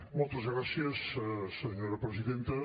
moltes gràcies senyora presidenta